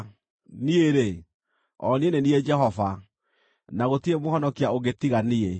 Niĩ-rĩ, o niĩ nĩ niĩ Jehova, na gũtirĩ mũhonokia ũngĩ tiga niĩ.